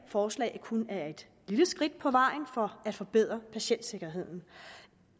forslag kun er et lille skridt på vejen for at forbedre patientsikkerheden